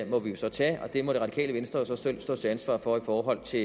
må vi jo så tage og den må radikale venstre så selv stå til ansvar for i forhold til